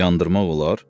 Yandırmaq olar?